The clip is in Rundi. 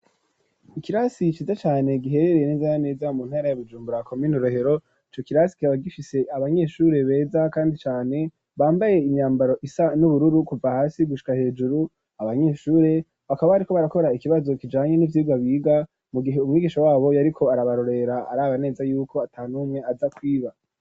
Ikirasi ciza cane giherereye n'eza na neza mu ntara ya Bujumbura komine Rohero ico kirasi kikaba gifise abanyeshure beza kandi cane bambaye imyambaro isa n'ubururu kuva hasi gushika hejuru abanyeshure bakaba barako barakora ikibazo kijanye n'ivyirwa biga mu gihe umwigisha wabo yariko arabarorera araba neza yuko atanumwe aza kwiba.